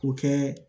K'o kɛ